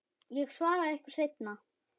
Ég svara ykkur seinna.